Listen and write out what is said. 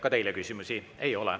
Ka teile küsimusi ei ole.